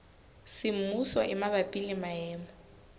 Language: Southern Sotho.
semmuso e mabapi le maemo